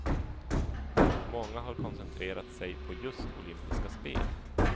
Många har koncentrerat sig på just olympiska spel.